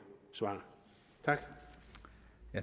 svar tak